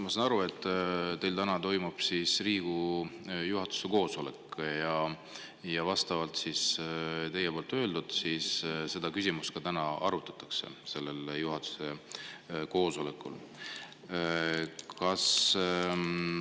Ma saan aru, et täna toimub Riigikogu juhatuse koosolek ja, nagu te ütlesite, seda küsimust sellel koosolekul ka arutatakse.